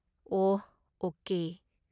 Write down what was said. ꯑꯣꯍ, okay.